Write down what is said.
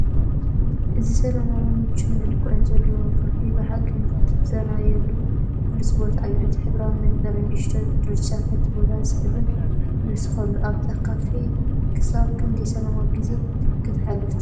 እዚ ሰላማውን ምቹውን መልክዕ ዘለዎ ካፌ ብሓቂ ንኽትዛነየሉ ብሉጽ ቦታ እዩ! እቲ ሕብራዊ መንበርን ንእሽቶ ጀርዲንን ነቲ ቦታ ስሕበት ይውስኸሉ። ኣብዛ ካፈ ክሳብ ክንደይ ሰላማዊት ግዜ ከተሕልፍ ትኽእል?